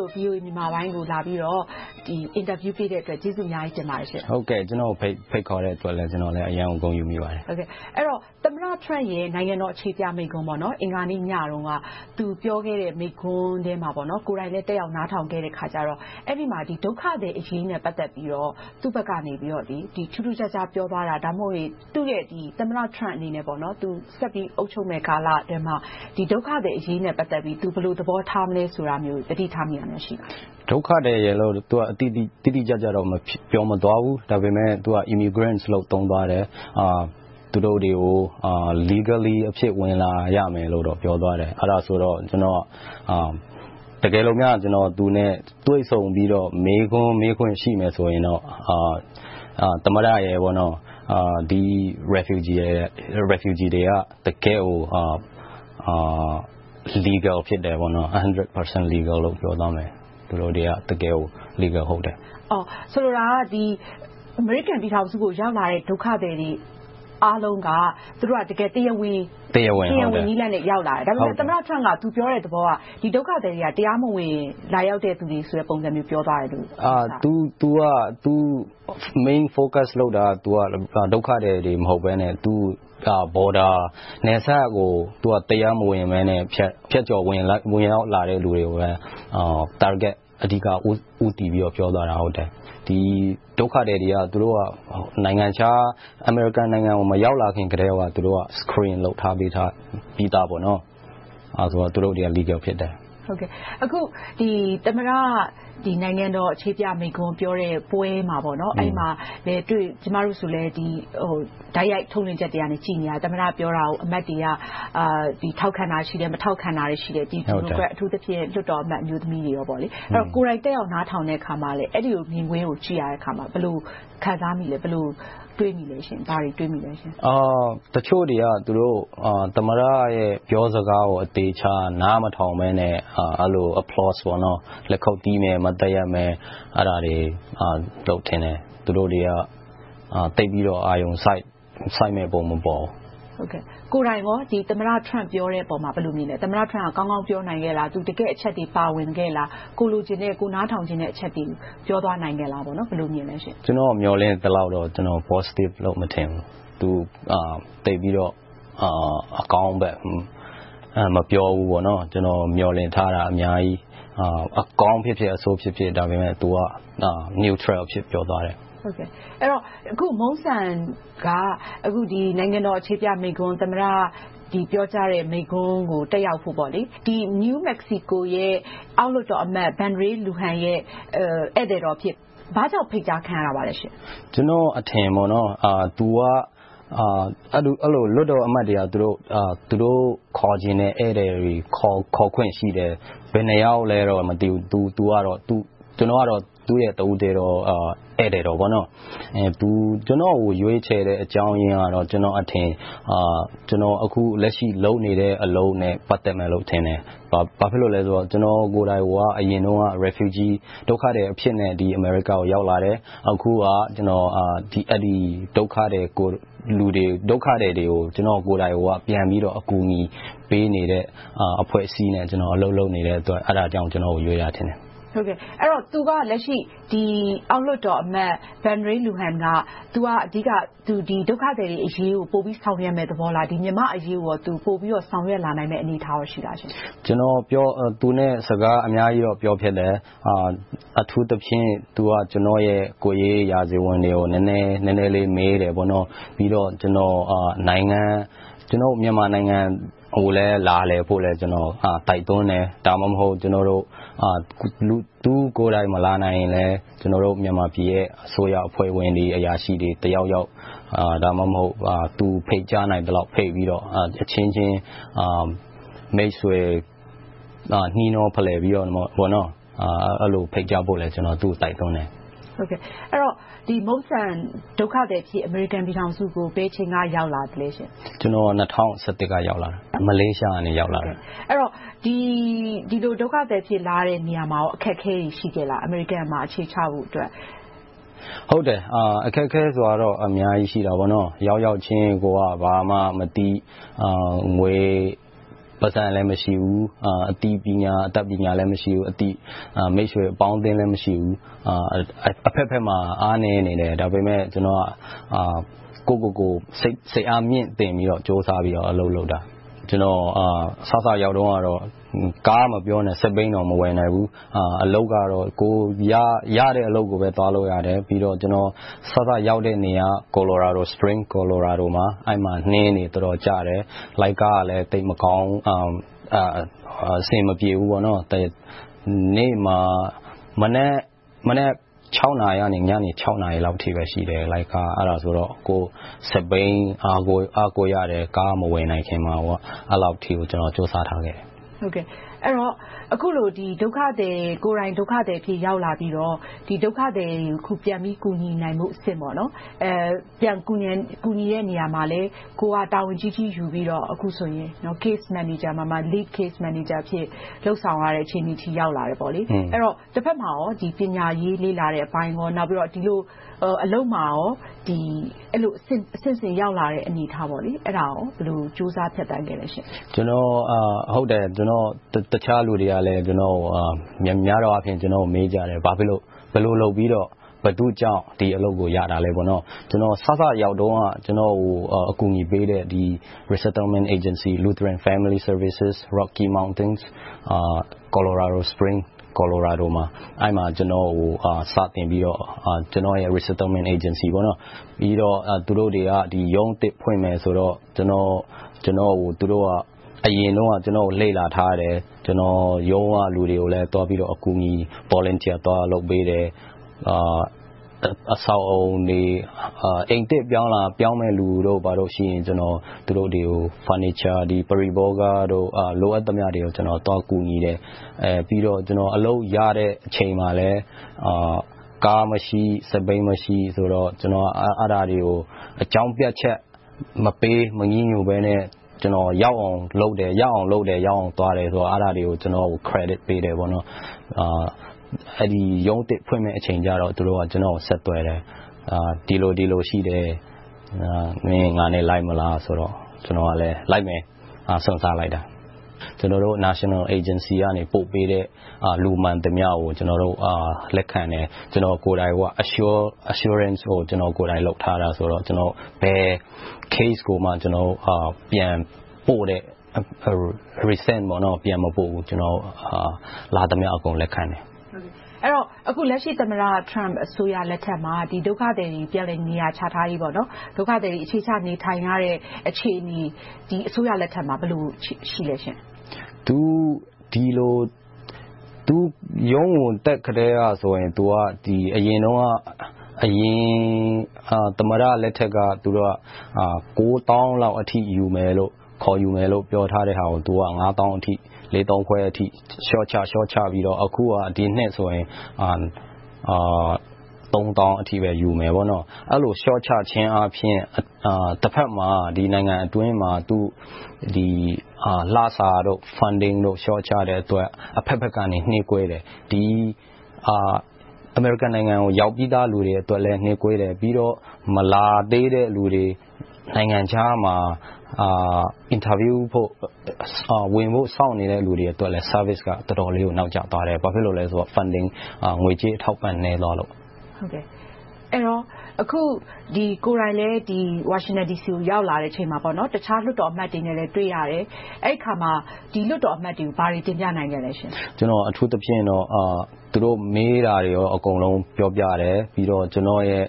ဲ့ VOA မြန်မာပိုင်းကို လာရောက်ပြီးတော့ အင်တာဗျူးပေးတဲ့အတွက် ကျေးဇူးအများကြီးတင်ပါတယ်။ ကျနော်ကို ဖိတ်ခေါ်တဲ့အတွက် ကျနော်လည်း အရမ်းကို ဂုဏ်ယူမိပါတယ်။ သမ္မတ Trump ရဲ့ နိုင်ငံတော်အခြေပြမိန့်ခွန်း အင်္ဂါနေ့ညတုန်းက သူပြောခဲ့တဲ့ မိန့်ခွန်းကို ကိုယ်တိုင်လည်း တက်ရောက်နားထောင်ခဲ့တော့ အဲဒီမှာ ဒုက္ခသည်တွေအရေးနဲ့ ပတ်သက်ပြီးတော့ သူ့ဘက်ကနေ ထူးထူးခြားခြား ပြောသွားတာ၊ ဒါမှမဟုတ် သူ့ရဲ့ သမ္မတ Trump အနေနဲ့ ဆက်ပြီးတော့ အုပ်ချုပ်တဲ့ကာလအတွင်းမှာ ဒုက္ခသည်အရေးနဲ့ ပတ်သက်ပြီး သူ ဘယ်လိုသဘောထားမလဲ ဆိုတာမျိုးကို သတိထားမိတာ ရှိပါလား။ ဒုက္ခသည်လိုတော့ တိတိကျကျ မပြောသွားပါဘူး။ ဒါပေမဲ့ Immigrants လို့ သုံးသွားတယ်။ သူတို့တွေကို Legally အဖြစ် ဝင်လာရမယ်လို့တော့ ပြောသွားတယ်။ အဲဒီမှာ ကျနော်အနေနဲ့ သူနဲ့တွေ့ဆုံပြီးတော့ မေးခွန်း မေးခွင့်ရှိမယ်ဆိုရင်တော့ သမ္မတရယ်၊ ဒုက္ခသည်တွေက တကယ့်ကို Legal တရားဝင်ဖြစ်တယ်။ ဆိုလိုတာက အမေရိကန်ပြည်ထောင်စုကို ရောက်လာကြတဲ့ ဒုက္ခသည်တွေ အားလုံးက သူတို့ဟာ တရားဝင်နည်းလမ်းနဲ့ ရောက်လာကြတယ်။ ဒါပေမဲ့ သမ္မတ Trump က သူပြောတဲ့သဘောက ဒီဒုက္ခသည်တွေက တရားမဝင် လာရောက်ကြတဲ့ပုံစံမျိုး ပြောသွားခဲ့တယ်။ သူ Main focus အဓိကပြောဆိုတာက ဒုက္ခသည်တွေ မဟုတ်ဘဲနဲ့ Border နယ်စပ်ကနေ တရားမဝင် ဖြတ်ကျော်လာကြတဲ့ လူတွေကို အဓိက target ဦးတည်ပြီးတော့ ပြောသွားတာဖြစ်တယ်။ ဒုက္ခသည်တွေက အမေရိကန်နိုင်ငံကို မရောက်လာခင်ကတည်းက နိုင်ငံခြားမှာ Screen စစ်ဆေးလုပ်ပြီသား။ ဒါကြောင့် သူတို့တွေက Legal တရားဝင် ဖြစ်တယ်။ သမ္မတ နိုင်ငံတော်အခြေပြမိန့်ခွန်းပြောတဲ့ပွဲမှာ - ကျမတို့လည်း တိုက်ရိုက်ထုတ်လွှင့်ချက်တွေကို ကြည့်နေခဲ့တယ် - သမ္မတပြောတာကို အမတ်တွေက ထောက်ခံတာရှိတယ်။ မထောက်ခံတာ ရှိတယ်။ အထူးသဖြင့် ဒီမိုကရက်၊ အမျိုးသမီးလွှတ်တော်အမတ်တွေ အပါအဝင်ပေါ့။ ကိုယ်တိုင်တက်ရောက် နားထောင်တဲ့အခါမှာ အဲဒီမြင်ကွင်းကို ကြည့်ရတဲ့အခါမှာ ဘယ်လိုခံစားမိသလဲ။ ဘယ်လိုတွေးမိလဲ။ တချို့တွေက သမ္မတရဲ့ ပြောစကားကို အသေအချာ နားမထောင်ဘဲနဲ့ အဲဒီလို လက်ခုပ်တီးမယ်။ မတ်တပ်ရပ်မယ်။ အဲဒါတွေလုပ်ကြတယ်။ သူတို့တွေက သိပ်ပြီးတော့ အာရုံစိုက်မယ့်ပုံ မပေါ်ဘူး။ ကိုယ်တိုင်ကော သမ္မတ Trump ပြောတဲ့အပေါ် ဘယ်လိုမြင်လဲ။ သမ္မတ Trump ကောင်းကောင်းပြောနိုင်ခဲ့လား။ တကယ့်အချက်အလက်တွေ ပါဝင်ခဲ့လား။ ကိုယ်လိုချင်တဲ့၊ ကိုယ်နားထောင်ချင်တဲ့ အချက်တွေကို ပြောသွားနိုင်ခဲ့လား။ ဘယ်လိုမြင်လဲ။ ကျနော်မျှော်လင့်သလောက်တော့ Positive လို့တော့ မထင်ဘူး။ သူက သိပ်ပြီးတော့ အကောင်းဘက် မပြောဘူး။ ကျနော် မျှော်လင့်ထားတာ အများကြီး။ အကောင်းဖြစ်ဖြစ်၊ အဆိုးဖြစ်ဖြစ် - ဒါပေမဲ့ သူက Neutral အဖြစ် ပြောသွားတယ်။ အခု Mungsan က နိုင်ငံတော်အခြေပြမိန့်ခွန်း သမ္မတ ပြောကြားတဲ့မိန့်ခွန်းကို တက်ရောက်ဖို့အတွက် New Mexico ပြည်နယ်အောက်လွှတ်တော်အမတ် Ben Ray Luján ရဲ့ ဧည့်သည်တော်အဖြစ် ဘာကြောင့်ဖိတ်ကြားခံရတာလဲ။ ကျနော့်အထင်က လွှတ်တော်အမတ်တွေက သူတို့ခေါ်ချင်တဲ့ ဧည့်သည်တွေကို ခေါ်ခွင့်ရှိတယ်။ ဘယ်နှစ်ယောက်လဲတော့ မသိဘူး။ ကျနော်ကတော့ သူ့ရဲ့တဦးတည်းသော ဧည့်သည်တော် ဖြစ်တယ်။ သူ ကျနော်ကို ရွေးချယ်ရခြင်းအကြောင်းရင်းကတော့ ကျနော့်အထင် ကျနော်က အခုလက်ရှိ လုပ်နေတဲ့အလုပ်နဲ့ ပတ်သက်မယ်လို့ထင်တယ်။ ဘာဖြစ်လို့လဲဆိုတော့ ကျနော်ကိုယ်တိုင်ကိုက အရင်တုန်းက ဒုက္ခသည်အဖြစ်နဲ့ အမေရိကန်နိုင်ငံကို ရောက်လာခဲ့တယ်။ အခုက ဒုက္ခသည်တွေကို ကျနော်ကိုယ်တိုင် ပြန်ပြီးတော့ ကူညီပေးနေတဲ့ အဖွဲ့အစည်းနဲ့ အလုပ်လုပ်နေတဲ့အတွက် အဲဒါကြောင့် ကျနော့်ကို ရွေးတာထင်တယ်။ သူက လက်ရှိ အောက်လွှတ်တော်အမတ် Ben Ray Luján က သူက ဒုက္ခသည်တွေအရေးကို ပိုပြီးဆောင်ရွက်မယ့်သဘောလား။ မြန်မာ့အရေးကို သူ ပိုပြီးတော့ ဆောင်ရွက်လာနိုင်မယ့် အနေအထားရှိလား။ ကျနော် သူနဲ့ စကားအများကြီးတော့ ပြောဖြစ်တယ်။ အထူးသဖြင့် သူက ကျနော့်ရဲ့ ကိုယ်ရေးရာဇဝင်တွေကို နည်းနည်းလေး မေးတယ်။ ပြီးတော့ ကျနော်ကို မြန်မာနိုင်ငံကိုလည်း လာလည်ဖို့ကို ကျနော်က တိုက်တွန်းတယ်။ ဒါမှမဟုတ် သူကိုယ်တိုင် မလာနိုင်ရင်လဲ ကျနော်တို့ မြန်မာပြည်ရဲ့ အစိုးရအဖွဲ့ဝင်တွေ၊ အရာရှိတွေ တက်ရောက်။ ဒါမှမဟုတ် သူ ဖိတ်ကြားနိုင်သလောက်ဖိတ်ပြီးတော့ အချင်းချင်းမိတ်ဆွေ နှီးနှောဖလှယ်ပြီးတော့ အဲဒီလိုဖိတ်ကြားဖို့လည်း ကျနော်တိုက်တွန်းတယ်။ အဲဒီတော့ Mungsan ဒုက္ခသည်အဖြစ်နဲ့ အမေရိကန်ပြည်ထောင်စုကို ဘယ်အချိန်က ရောက်လာသလဲ။ ကျနော် ၂၀၁၁ က ရောက်ရှိလာခဲ့တယ်။ မလေးရှားကတဆင့် ရောက်လာတာပါ။ ဒီလိုဒုက္ခသည်အဖြစ် လာရတဲ့အချိန်မှာ အခက်အခဲတွေ ရှိခဲ့လား။ အမေရိကန်မှာ အခြေချဖို့အတွက် အခက်အခဲကတော့ အများကြီးရှိတယ်။ ရောက်ရောက်ချင်း ကိုယ်က ဘာမှမသိ။ ငွေ၊ ပိုက်ဆံလည်း မရှိဘူး။ အသိပညာ၊ အတတ်ပညာလည်း မရှိဘူး။ အသိမိတ်ဆွေအပေါင်းအသင်းလည်း မရှိဘူး။ အဘက်ဘက်မှာ အားနည်းနေတယ်။ ဒါပေမဲ့ ကျနော်က ကိုယ့်ကိုယ်ကို စိတ်အားမြှင့်တင်ပြီးတော့ ကြိုးစားပြီးတော့ အလုပ်လုပ်ခဲ့တယ်။ ကျနော် စစရောက်တုန်းက ကားမပြောနဲ့၊ စက်ဘီးတောင် မဝယ်နိုင်ဘူး။ အလုပ်ကတော့ ကိုယ်ရတဲ့အလုပ်ကိုပဲ သွားလုပ်ရတယ်။ ပြီးတော့ စစရောက်တဲ့နေရာက Spring, Colorado မှာ အဲဒီမှာ နှင်းတွေတော်တော်ကျတယ်။ လိုင်းကားကလည်း သိပ်မကောင်းဘူး။ အဆင်မပြေဘူး။ မနက် နာရီကနေ ညနေ နာရီအထိလောက်ပဲ လိုင်းကားက ရှိတယ်။ အဲဒါဆိုတော့ စက်ဘီးကို အားကိုးရတယ်။ ကားမဝယ်နိုင်ခင်မှာ။ အဲဒီလောက်အထိကို ကြိုးစားခဲ့တယ်။ အဲဒီတော့ ကိုယ်တိုင်ဒုက္ခသည်အဖြစ် ရောက်လာခဲ့ပြီးတော့ ဒုက္ခသည်တွေကို ပြန်ပြီးတော့ ကူညီနိုင်ဖို့အဆင့် - ပြန်ကူညီတဲ့နေရာမှာလည်း ကိုယ်ကတာဝန်ကြီးကြီး ယူပြီးတော့ Case Manager မှာ Lead Case Manager အဖြစ် လုပ်ဆောင်ရတဲ့ အခြေအနေအထိ ရောက်လာခဲ့တယ်။ အဲဒီတော့ တဘက်မှာ ပညာရေးလေ့လာတဲ့အပိုင်းကော၊ နောက်ပြီးတော့ အလုပ်မှာကော အဆင့်ဆင့်ရောက်လာတဲ့အနေအထား အဲဒါကို ဘယ်လိုကြိုးစားဖြတ်သန်းခဲ့ပါလဲ။ ကျနော်ကို တခြားလူတွေလည်း မေးကြတယ်။ ဘာဖြစ်လို့၊ ဘယ်လိုလုပ်ပြီတော့၊ ဘယ်သူကြောင့် ဒီအလုပ်ကို ရတာလဲ။ ကျနော် စစရောက်တုန်းက ကျနော်ကို အကူအညီပေးတဲ့ Resettlement Agency Lutheran Family Services, Rocky Mountain, Colorado Spring, Colorado မှာ အဲဒီမှာ စတင်ပြီးတော့ သူတို့က ရုံးအသစ်ဖွင့်မယ်ဆိုတော့ ကျနော်ကို သူတို့က အရင်တုန်းက လေ့လာထားတယ်။ ရုံးကလူတွေကို အကူအညီ Volunteer လုပ်ပေးတယ်။ အိမ်သစ်ပြောင်းလာမယ့် လူတွေရှိရင် သူတို့တွေကို furniture ပရိဘောဂတွေကို လိုအပ်သလောက် သွားကူညီတယ်။ ပြီးနောက် အလုပ်ရတဲ့အချိန်မှာလည်း ကားမရှိ၊ စက်ဘီးမရှိတော့ အဲဒါတွေကို အကြောင်းပြချက်မပေး၊ မညည်းညူးဘဲနဲ့ ကျနော် ရအောင်လုပ်တယ်။ ရအောင်သွားတယ်ဆိုတာတွေကို Credit ပေးတယ်။ အဲဒီရုံးသစ်ဖွင့်မယ်အချိန်ကြတော့ သူတို့က ကျနော်ကို ဆက်သွယ်တယ်။ ဒီလိုရှိတယ် - မင်း ငါနဲ့လိုက်မလားဆိုတော့ ကျနော်ကလည်းလိုက်မယ်ဆိုပြီး စွန့်စားလိုက်တာ။ ကျနော်တို့ National Agency က ပို့ပေးသမျှ လူမှန်သမျှကို ကျနော်တို့ လက်ခံတယ်။ ကျနော်တို့ကိုယ်တိုင် Ensurance ကို ကျနော်ကိုယ်တိုင်လုပ်ထားတယ်ဆိုတော့ ဘယ် Case ကိုမှ ပြန်မပို့ဘူး။ လာသမျှအကုန် လက်ခံတယ်။ အဲဒီတော့ လက်ရှိ သမ္မတ Trump အစိုးရလက်ထက်မှာ ဒုက္ခသည်တွေ ပြန်လည်နေရာချထားရေး၊ ဒုက္ခသည်တွေ အခြေချနေထိုင်ရတဲ့ အခြေအနေက ဒီအစိုးရလက်ထက်မှာ ဘယ်လိုရှိပါလဲ။ သူ သမ္မတဖြစ်လာကတည်းကဆိုရင် အရင်ကတည်းက အရင်သမ္မတလက်ထက်က ကိုးသောင်းလောက်အထိ ခေါ်ယူမယ်လို့ ပြောထားတဲဟာကို ငါးသောင်းအထိ၊ လေးသောင်းခွဲအထိ လျှော့ချခဲ့ပြီးတော့ ဒီနှစ်ဆိုရင် သုံးသောင်းအထိပဲ ယူခဲ့တယ် - အဲဒီလို လျှော့ချခြင်းဖြင့် တဘက်မှာ နိုင်ငံအတွင်းမှာ လစာတို့၊ Funding တို့ လျှော့ချတဲ့အတွက် အဘက်ဘက်က နှေးကွေးတယ်။ ဒါဟာက အမေရိကန်ပြည်ထောင်စုက ရောက်ပြီသားလူတွေအတွက်လည်း နှေးကွေးတယ်။ ပြီးတော့ မလာသေးတဲ့လူတွေ၊ နိုင်ငံခြားမှာ အင်တာဗျူးဖို့၊ ဝင်ဖို့စောင့်နေတဲ့လူတွေအတွက် Services ကလည်း တော်တော်လေးကို နောက်ကျသွားတယ်။ ဘာဖြစ်လို့လဲဆိုတော့ ငွေကြေးအထောက်အပံ့တွေ နည်းသွားလို့။ အခုကိုယ်တိုင်လည်း ဝါရှင်တန်ဒီစီကို ရောက်လာချိန်မှာ တခြားလွှတ်တော်အမတ်တွေနဲ့လည်း တွေ့ရတယ်။ အဲဒီအခါမှာ ဒီလွှတ်တော်အမတ်တွေကို ဘာတွေတင်ပြနိုင်ခဲ့လဲ။ ကျနော်အနေနဲ့ အထူးသဖြင့် သူတို့မေးတာတွေကို အကုန်လုံးပြောပြတယ်။ ပြီးတော့ ကျနော်ရဲ့